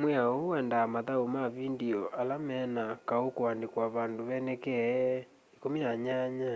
mwiao huu wendaa mathaũ ma vindio ala mena kaũ kuandikwa pandũ penekee 18